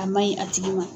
A maɲi a tigi ma